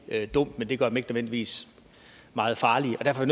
dumt men det gør nødvendigvis meget farlige og derfor er